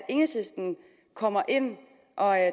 enhedslisten kommer ind og